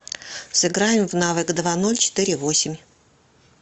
сыграем в навык два ноль четыре восемь